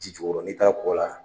Ji jukɔrɔ n'i taara kɔ la.